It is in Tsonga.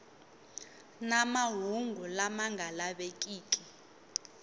na mahungu lama nga lavekiki